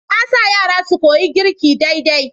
Na sa yara su koyi girki daidai.